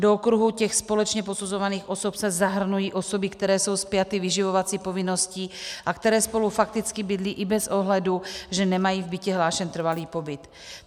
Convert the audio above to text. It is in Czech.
Do okruhu těch společně posuzovaných osob se zahrnují osoby, které jsou spjaty vyživovací povinností a které spolu fakticky bydlí i bez ohledu, že nemají v bytě hlášen trvalý pobyt.